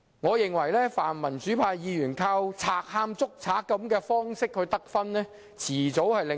我認為泛民主派議員依靠"賊喊捉賊"的方法得分，早晚會令市民"無啖好食"。